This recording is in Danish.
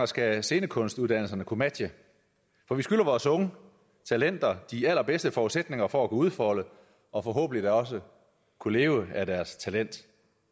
skal scenekunstuddannelserne kunne matche for vi skylder vores unge talenter de allerbedste forudsætninger for udfolde og forhåbentlig da også kunne leve af deres talent